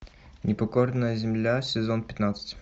непокорная земля сезон пятнадцать